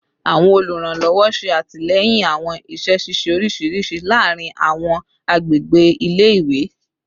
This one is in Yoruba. Awọn oluranlọwọ ṣe atilẹyin awọn iṣẹ ṣiṣe oriṣiriṣi laarin awọn agbegbe ile-iwe